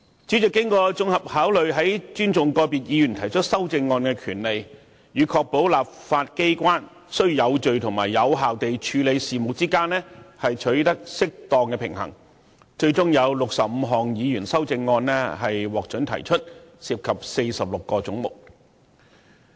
主席經整體考慮後，在尊重個別議員提出修正案的權利，以及確保立法機關有序及有效地處理事務之間取得適當平衡，最終准許議員提出65項修正案，涉及46個總目。